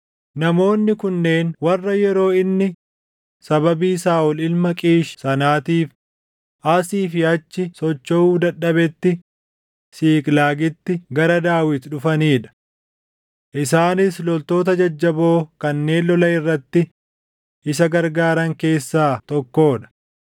Namoonni kunneen warra yeroo inni sababii Saaʼol ilma Qiish sanaatiif asii fi achi sochoʼuu dadhabetti Siiqlaagitti gara Daawit dhufanii dha. Isaanis loltoota jajjaboo kanneen lola irratti isa gargaaran keessaa tokkoo dha;